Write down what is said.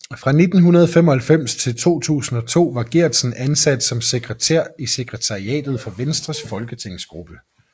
Fra 1995 til 2002 var Geertsen ansat som sekretær i sekretariatet for Venstres folketingsgruppe